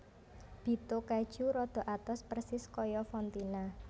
Bitto Keju rada atos persis kaya fontina